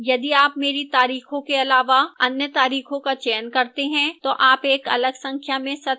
यदि आप मेरी तारीखों के अलावा अन्य तारीखों का चयन करते हैं तो आप एक अलग संख्या में सत्र देख सकते हैं